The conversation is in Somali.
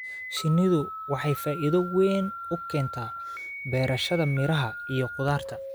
Shinnidu waxay faa'iido weyn u keentaa beerashada miraha iyo khudaarta.